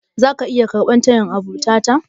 Zaka iya karɓar tayin abota ta?